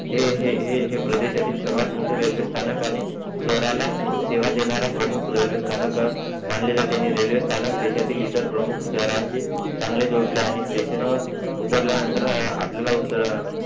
हे हे हे प्रदेशातील सर्वात मोठं रेल्वे स्थानक आणि शहराला सेवा देणारा प्रमुख रेल्वे स्तनाक मानले जाते आणि रेल्वे स्थानक देशातील इतर प्रमुख शहरांशी चांगले जोडले आहे आणि स्टेशन वरउतरल्यनानंतर आपल्याला ऊत